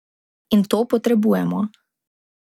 In to potrebujemo.